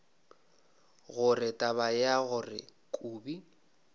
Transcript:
gore taba ya gore kobi